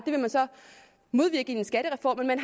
det vil man så modvirke i en skattereform men man